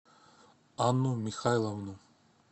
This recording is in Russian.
анну михайловну